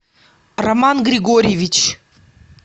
роман григорьевич